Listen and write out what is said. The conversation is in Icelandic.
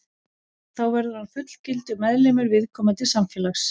Þá verður hann fullgildur meðlimur viðkomandi samfélags.